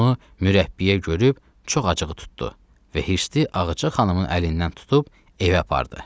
Bunu mürəbbiyə görüb çox acığı tutdu və hirstli Ağaca xanımın əlindən tutub evə apardı.